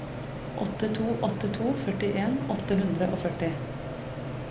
åtte to åtte to førtien åtte hundre og førti